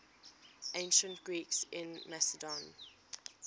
ancient greeks in macedon